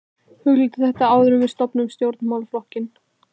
Hugleiddu þetta áður en við stofnum stjórnmálaflokkinn!